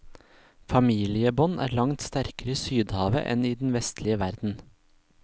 Familiebånd er langt sterkere i sydhavet enn i den vestlige verden.